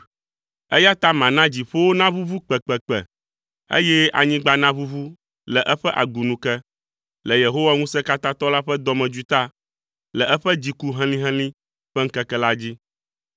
Eya ta mana dziƒowo naʋuʋu kpekpekpe, eye anyigba naʋuʋu le eƒe agunu ke le Yehowa Ŋusẽkatãtɔ la ƒe dɔmedzoe ta le eƒe dziku helĩhelĩ ƒe ŋkeke la dzi.